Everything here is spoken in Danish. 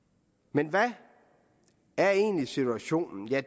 men hvad er egentlig situationen ja